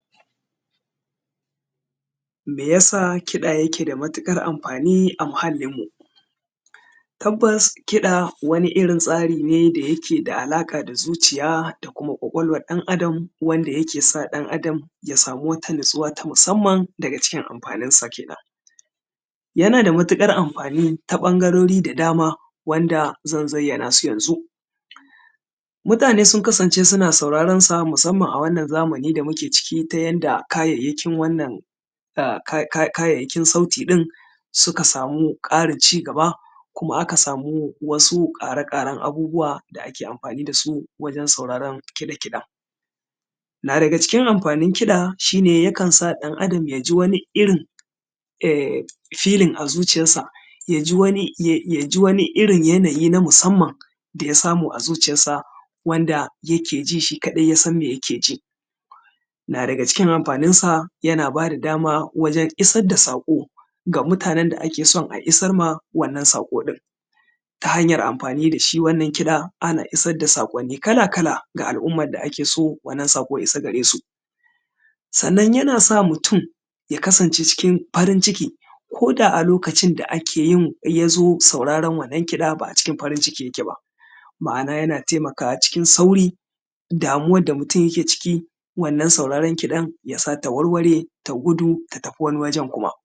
me yasa kiɗa yake da matuƙar amfani a muhalin mu tabbas kiɗa wani irin tsari ne da yake da alaƙa da zuciya da kuma ƙwaƙwalwar ɗan adam wanda yake sa ɗan adam ya samu wata nutsuwa ta musamman daga cikin amfanin sa kenan yana da matuƙar amfani ta ɓangarori da dama wanda zan zayyana nasu yanzu mutane sun kasance suna sauraron sa musamman a wannan zamani da muke ciki ta yanda kayayyakin wannan kayayyakin sauti ɗin suka samu ƙarin cigaba kuma ka samu wasu ƙare-ƙaren abubuwa da ake amfani dasu wajen sauraron kiɗe-kiɗen na daga cikin amfanin kiɗa shi ne yakan sa ɗan adam yaji wani rin feeling a zuciyarsa yaji wani irin yanayi na musamman daya samu a zuciyar sa wanda yake jin shi kaɗai yasan me yake ji na daga cikin amfanin sa yana bada dama wajen isar da saƙo ga mutanen da ake son a isar ma wannan saƙo ɗin ta hanyar amfani da shi wannan kiɗar ana isar da saƙonni kala-kala ga al’ummar da ake so wannan saƙo ya isa gare su sannan yana sa mutum ya kasance cikin farin ciki koda a lokacin da ake yin yazo sauraran wannan kiɗar ba a cikin farin cikin yake ba ma’ana yana taimakawa cikin sauri damuwar da mutum yake ciki wannan sauraron kiɗar yasa ta warware ta gudu ta tafi wani guri